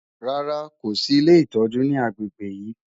Rárá, kò sì ilé ìtọ́jú ní agbègbè yìí.